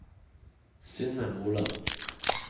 Synne Moland